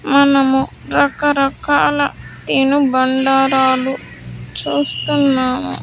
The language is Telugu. మనము రకరకాల తిను బండారాలు చూస్తున్నాము.